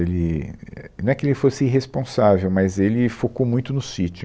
Ele, é, não é que ele fosse irresponsável, mas ele focou muito no sítio.